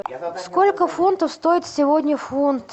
сколько фунтов стоит сегодня фунт